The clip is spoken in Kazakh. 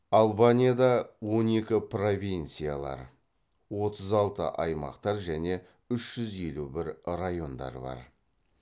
албанияда он екі провинциялар отыз алты аймақтар және үш жүз елу бір райондар бар